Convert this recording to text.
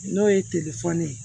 N'o ye ye